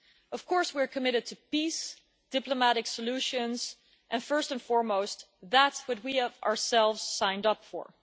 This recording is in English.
Of course, we are committed to peace, diplomatic solutions and, first and foremost, that which we ourselves have signed up for.